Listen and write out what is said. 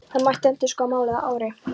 Það mætti endurskoða málið að ári.